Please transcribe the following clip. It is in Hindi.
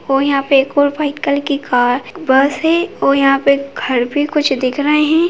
और यहाँ पे एक और व्हाइट कलर की कार बस है और यहाँ पे घर भी कुछ दिख रहे है।